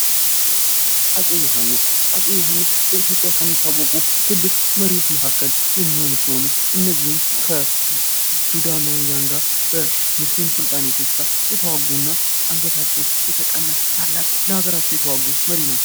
አፄ ዮሐንስ አፄ ዮሐንስ በኢትዮጵያ የሚታወቁ ትልቅ መሪዎች መካከል የሚሆኑ ሲሆኑ እነዚህም ከሱዳናውያን ጋር ከሙስሊም ሱልጣነቶች ጋር የተዋጉ እና አንግታቸው የተቀላ ለሀገራቸው የተዋጉ መሪ ናቸው::